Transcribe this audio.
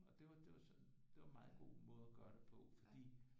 Og det var det var sådan det var en meget god måde at gøre det på fordi